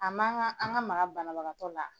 A manga an ka maka banabagatɔ la.